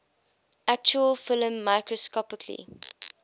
actual film microscopically